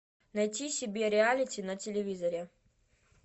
найти себе реалити на телевизоре